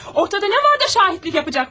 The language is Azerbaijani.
Ortada nə vardı, şahidlik edəcəklər.